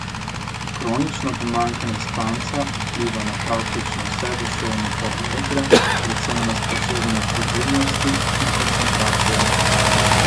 Kronično pomanjkanje spanca vpliva na praktično vse duševne parametre, predvsem na sposobnost odzivnosti in koncentracije.